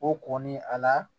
O kɔnni a la